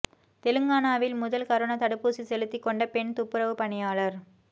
தெலங்கானாவில் முதல் கரோனா தடுப்பூசி செலுத்திக் கொண்ட பெண் துப்புரவு பணியாளர்